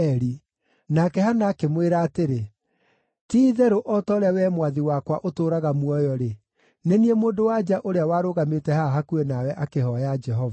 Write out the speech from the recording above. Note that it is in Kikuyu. Nake Hana akĩmwĩra atĩrĩ, “Ti-itherũ o ta ũrĩa wee mwathi wakwa ũtũũraga muoyo-rĩ, nĩ niĩ mũndũ-wa-nja ũrĩa warũgamĩte haha hakuhĩ nawe akĩhooya Jehova.